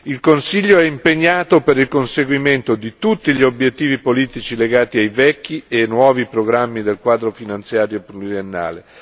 Il Consiglio è impegnato per il conseguimento di tutti gli obiettivi politici legati ai vecchi e ai nuovi programmi del Quadro finanziario pluriennale.